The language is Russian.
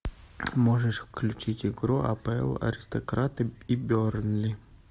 можешь включить игру апл аристократы и бернли